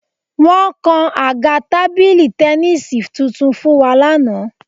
Wọ́n kan àga tábìlì tẹníìsì tuntun fún wa lánàá